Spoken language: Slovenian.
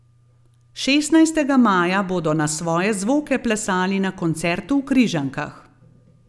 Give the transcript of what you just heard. Šestnajstega maja bodo na svoje zvoke plesali na koncertu v Križankah.